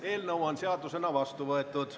Eelnõu on seadusena vastu võetud.